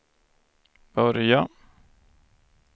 börja